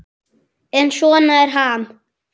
En svona er Ham.